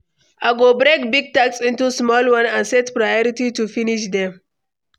I go break big task into small ones and set priority to finish them.